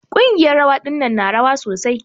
Ƙungiyar rawa ɗinnan na rawa sosai.